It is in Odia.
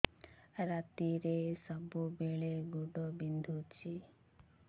ରାତିରେ ସବୁବେଳେ ଗୋଡ ବିନ୍ଧୁଛି